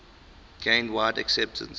gained wide acceptance